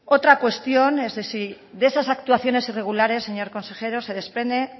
otra cuestión es de si de esas actuaciones irregulares señor consejero se desprende